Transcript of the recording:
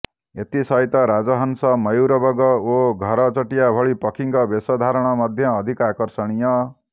ଏଥିସହିତ ରାଜହଂସ ମୟୂର ବଗ ଓ ଘର ଚଟିଆ ଭଳି ପକ୍ଷୀଙ୍କ ବେଶ ଧାରଣ ମଧ୍ୟ ଅଧିକ ଆକର୍ଷଣୀୟ